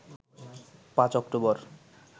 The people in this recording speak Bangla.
৫ অক্টোবর